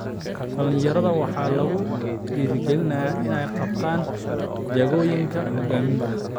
Dhallinyarada waxaa lagu dhiirigelinayaa inay qabtaan jagooyinka hoggaaminta.